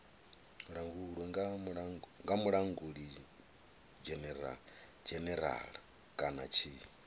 langulwe nga mulangulidzhenerala kana tshi